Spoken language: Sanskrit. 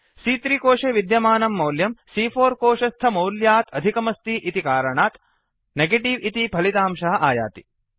सी॰॰3 कोशे विद्यमानं मौल्यं सी॰॰4 कोशस्थमौल्यात् अधिकमस्ति इति कारणात् नेगेटिव इति फलितांशः आयाति